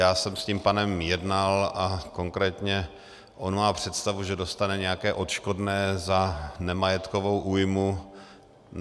Já jsem s tím pánem jednal a konkrétně on má představu, že dostane nějaké odškodné za nemajetkovou újmu.